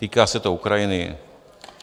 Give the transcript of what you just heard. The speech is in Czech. Týká se to Ukrajiny.